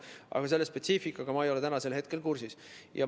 Aga selle spetsiifikaga ei ole ma täna kursis.